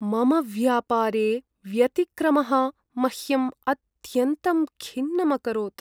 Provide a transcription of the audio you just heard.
मम व्यापारे व्यतिक्रमः मह्यं अत्यन्तं खिन्नम् अकरोत्।